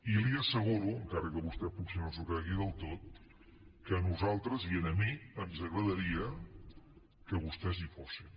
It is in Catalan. i li asseguro encara que vostè potser no s’ho cregui del tot que a nosaltres i a mi ens agradaria que vostès hi fossin